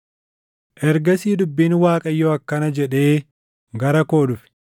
Ergasii dubbiin Waaqayyoo akkana jedhee gara koo dhufe: